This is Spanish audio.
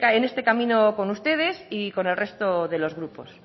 en este camino con ustedes y con el resto de los grupos